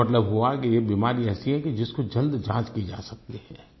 इसका मतलब हुआ कि ये बीमारी ऐसी है कि जिसको जल्द जाँच की जा सकती है